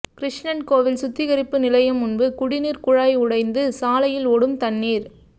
கிருஷ்ணன்கோவில் சுத்திகரிப்பு நிலையம் முன்பு குடிநீர் குழாய் உடைந்து சாலையில் ஓடும் தண்ணீர்